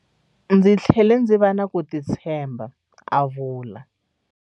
Ndzi tlhele ndzi va na ku titshemba, a vula.